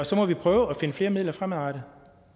så må vi prøve at finde flere midler fremadrettet